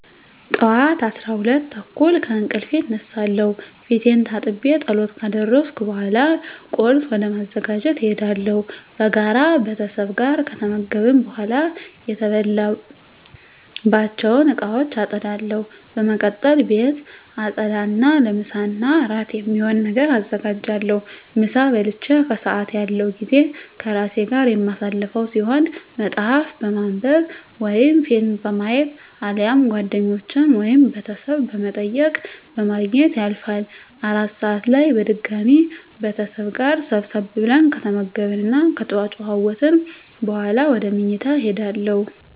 ጠዋት 12:30 ከእንቅልፌ እነሳለሁ። ፊቴን ታጥቤ ፀሎት ካደረስኩ በኃላ ቁርስ ወደ ማዘጋጀት እሄዳለሁ። በጋራ ቤተሰብ ጋር ከተመገብን በኃላ የተበላባቸውን እቃወች አፀዳለሁ። በመቀጠል ቤት አፀዳ እና ለምሳ እና እራት የሚሆን ነገር አዘጋጃለሁ። ምሳ በልቼ ከሰአት ያለው ጊዜ ከራሴ ጋር የማሳልፈው ሲሆን መፀሀፍ በማንብ ወይም ፊልም በማየት አሊያም ጓደኞቼን ወይም ቤተሰብ በመጠየቅ በማግኘት ያልፋል። እራት ሰአት ላይ በድጋሚ ቤተሰብ ጋር ሰብሰብ ብለን ከተመገብን እና ከተጨዋወትን በኃላ ወደ ምኝታ እሄዳለሁ።